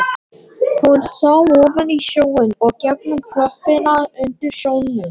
Hún sá ofan í sjóinn og gegnum klöppina undir sjónum.